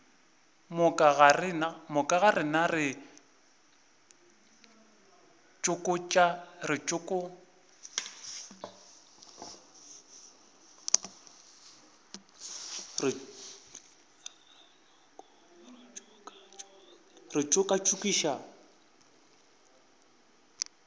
moka ga rena re tšokatšokišwa